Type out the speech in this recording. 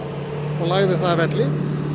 og lagði það að velli